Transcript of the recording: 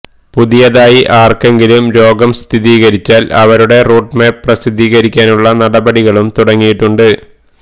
പുതിയതായി ആര്ക്കെങ്കിലും രോഗം സ്ഥിരീകരിച്ചാല് അവരുടെ റൂട്ട് മാപ്പ് പ്രസിദ്ധീകരിക്കാനുള്ള നടപടികളും തുടങ്ങിയിട്ടുണ്ട്